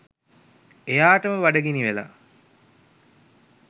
එයාටම බඩගිනි වෙලා